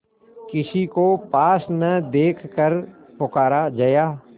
किसी को पास न देखकर पुकारा जया